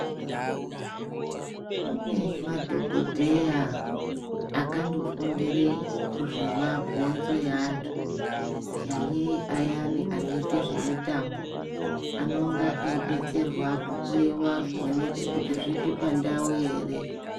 Kune madhokodheya akando fundire zve mabhonzo e antu kunyanye ayani anoite zve mitambo anonga eyi detserwa ku hloyiwa kuoneke kuti zvichi pandau ere.